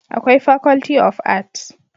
Akwai faculty of art